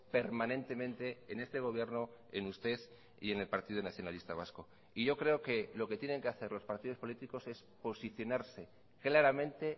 permanentemente en este gobierno en usted y en el partido nacionalista vasco y yo creo que lo que tienen que hacer los partidos políticos es posicionarse claramente